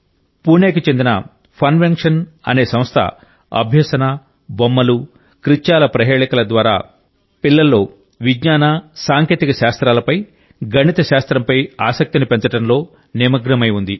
పూణేకి చెందిన ఫన్వెన్షన్ అనే సంస్థ అభ్యసన బొమ్మలు కృత్యాల ప్రహేళికల ద్వారా పిల్లల్లో విజ్ఞాన సాంకేతిక శాస్త్రాలపై గణితశాస్త్రంపై ఆసక్తిని పెంచడంలో నిమగ్నమై ఉంది